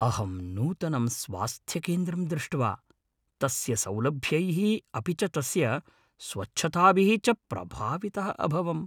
अहं नूतनं स्वास्थ्यकेन्द्रं दृष्ट्वा तस्य सौलभ्यैः अपि च तस्य स्वच्छताभिः च प्रभावितः अभवम्।